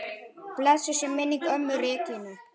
Blessuð sé minning ömmu Regínu.